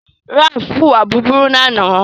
ralph huwa búburú lànà